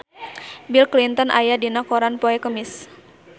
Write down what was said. Bill Clinton aya dina koran poe Kemis